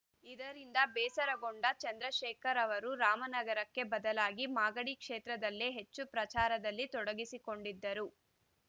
ಇದರಿಂದ ಬೇಸರಗೊಂಡ ಚಂದ್ರಶೇಖರ್‌ ಅವರು ರಾಮನಗರಕ್ಕೆ ಬದಲಾಗಿ ಮಾಗಡಿ ಕ್ಷೇತ್ರದಲ್ಲೇ ಹೆಚ್ಚು ಪ್ರಚಾರದಲ್ಲಿ ತೊಡಗಿಸಿಕೊಂಡಿದ್ದರು